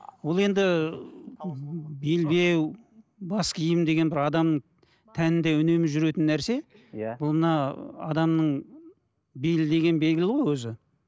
ол енді белбеу бас киім деген бір адам тәнінде үнемі жүретін нәрсе иә бұл мына адамның белі деген белгілі ғой өзі